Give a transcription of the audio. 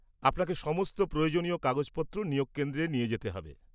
আপনাকে সমস্ত প্রয়োজনীয় কাগজপত্র নিয়োগ কেন্দ্রে নিয়ে যেতে হবে।